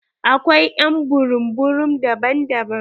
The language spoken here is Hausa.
Akwai ƴ'an burum burum daban-daban